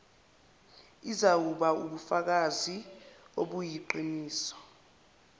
izawuba wubufakazi obuyiqiniso